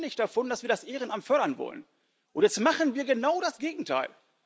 Wir reden ständig davon, dass wir das Ehrenamt fördern wollen, und jetzt machen wir genau das Gegenteil.